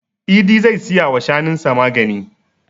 Idi zai siya wa shanun sa magani.